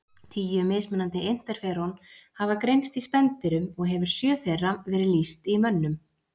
Tíu mismunandi interferón hafa greinst í spendýrum og hefur sjö þeirra verið lýst í mönnum.